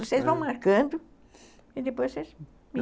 Vocês vão marcando e depois vocês me